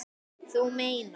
Þú meinar.